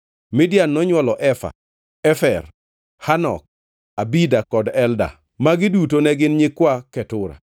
Midian nonywolo Efa, Efer, Hanok, Abida kod Elda. Magi duto ne gin nyikwa Ketura.